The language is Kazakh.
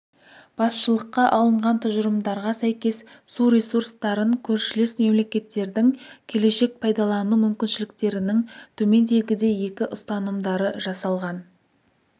басшылыққа алынған тұжырымдарға сәйкес су ресурстарын көршілес мемлекеттердің келешек пайдалану мүмкіншіліктерінің төмендегідей екі ұстанымдары жасалған